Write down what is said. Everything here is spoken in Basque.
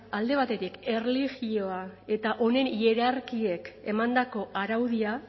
alde batetik erlijioa eta honen hierarkiek emandako araudia